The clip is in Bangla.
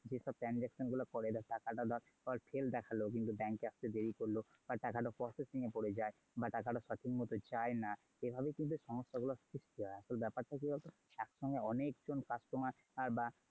যেসব transaction গুলো করে বা টাকাটা ধর failed দেখালো কিন্তু bank এ আসতে দেরি করলো, বা টাকাটা processing এ পরে যায় বা টাকাটা সঠিক মতো যায় না এভাবে কিন্তু সমস্যা গুলো সৃষ্টি হয়। তো ব্যাপারটা কি বলতো একসঙ্গে অনেক জন customer বা।